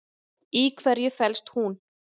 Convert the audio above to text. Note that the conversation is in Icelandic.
Í hverju felst hún?